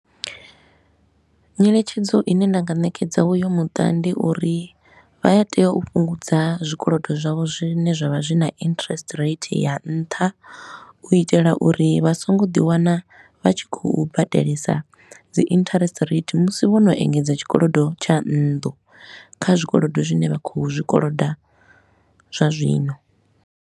Nyeletshedzo i ne nda nga ṋekedza u yu muṱa ndi uri vha a tea u fhungudza zwikolodo zwavho zwine zwa vha zwi na interest rate ya nṱha, u itela uri vha songo ḓi wana vha tshi khou badelesa dzi interest rate musi vho no engedza tshikolodo tsha nndu kha zwikolodo zwine vha khou zwikolodo zwa zwino.